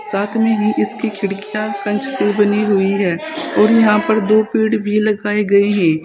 साथ में ही इसकी खिड़कियां कांच से बनी हुई है और यहां पर दो पेड़ भी लगाए गए है।